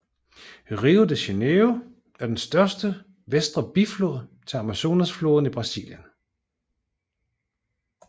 Rio Negro er den største venstre biflod til Amazonfloden i Brasilien